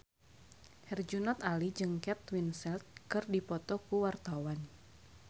Herjunot Ali jeung Kate Winslet keur dipoto ku wartawan